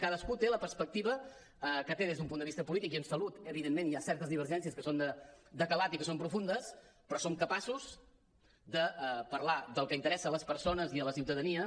cadascú té la perspectiva que té des d’un punt de vista polític i en salut evidentment hi ha certes divergències que són de calat i que són profundes però som capaços de parlar del que interessa a les persones i a la ciutadania